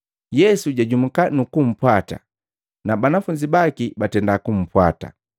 Yesu jajumuka nukumpwata na banafunzi baki batenda kupwata.